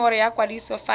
nomoro ya kwadiso fa e